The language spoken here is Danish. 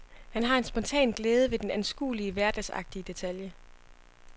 Han har en spontan glæde ved den anskuelige, hverdagsagtige detalje.